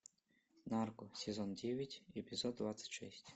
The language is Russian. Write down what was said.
нарко сезон девять эпизод двадцать шесть